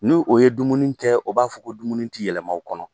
Ni o ye dumuni tɛ o b'a fɔ ko dumuni tɛ yɛlɛma u kɔnɔ.